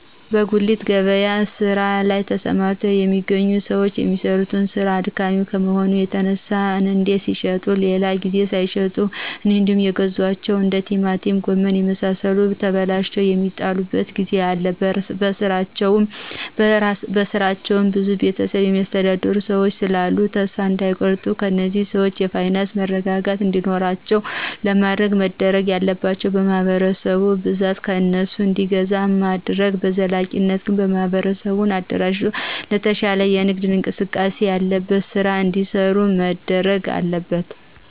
በጉሊት ገበያ ስራ ላይ ተሰማርተው የሚገኙ ሰዎች የሚሰሩት ስራ አድካሚ ከመሆኑ የተነሳ አንዴ ሲሽጡ ሌላ ጊዜ ሳይሸጡ እንዴውም የገዟቸው እንደ ቲማቲም ጎመን የመሳሰሉት ተበላሽተው የሚጥሉበት ጊዜ አለ በስራቸው ብዙ ቤተሰብ የሚያስተዳድሩ ሰዎች ስላሉ ተሰፋ እዳይቆርጡ እነዚህን ሰዎች የፋይናንስ መረጋጋት እንዲኖራቸው ለማድረግ መደረግ ያለባቸው ማህበረሰቡ በብዛት ከእነሱ እንዲገዛ ማድረግ በዘላቂነት ግን በማህበር አደራጅቶ የተሻለ የንግድ እንቅስቃሴ ያለበት ስራ እዲሰሩ መደረግ አለበት።